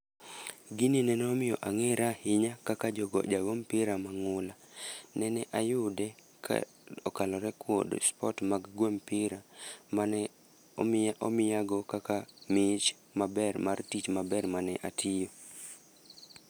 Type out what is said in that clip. Gini nene omiyo angéra ahinya kaka jogo, ja go mpira mangúla. Nene ayude ka okalore kod sport mag gwe mpira mane omiya, omiya go kaka mich maber mar tich maber mane atiyo.